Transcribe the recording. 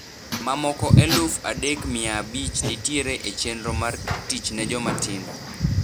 Mamoko eluf adek mia abich nitiere e chenro mar 'Tich ne Jomatindo'.